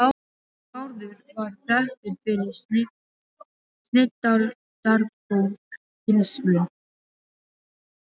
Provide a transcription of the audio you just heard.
Bárður var þekktur fyrir snilldargóð tilsvör.